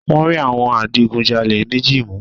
Wọ́n rí àwọn adigunjalè méji mu